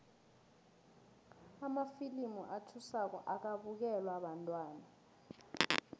amafilimu athusako akabukelwa bantwana